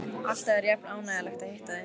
Alltaf er jafn ánægjulegt að hitta þig.